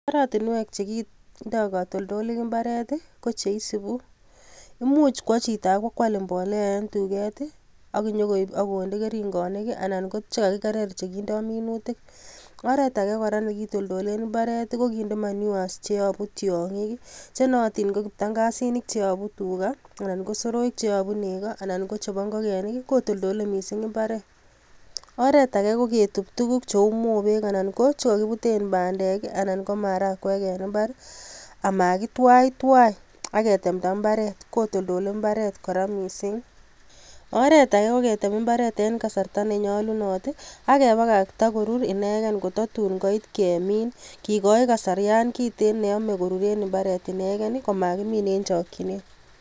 Oratinwek chekindo katoltolik imbaaret I,kocheisubu imuch kwo chito ak kwo koal imbolea en tuket I ak inyon koib ak konde keringoniik, anan ko chekakikerer chekindo minuutik. Oretage kora nekitoltoleen imbaaret ko kinde manures cheyobu tiongiik,I chenootin ko kiptangasinik cheyobu tugaa Aman ko soroik cheyobu nekoo anan ko chebo ingogenik kotoltole missing imbaaret. Oret age ko ketub tuguuk cheu moobek anan ko chekokibuten bandek I anan ko maharagwek en imbar amakitwaitwai akitembta mbaret kotoltole imbaret inguno missing. Oretage koketem imbaret en kasarta nenyolunot ak kebakaktaa korur inegen kototun koit kemin kikoi kasarian kiten neome koruren imbaaret inegen komokimin en chokchinet